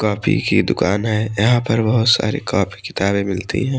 Coffee की दुकान है यहां पर बहुत सारे कापी किताबें मिलती हैं।